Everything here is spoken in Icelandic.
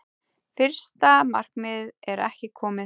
Fyrsta markmið er ekki komið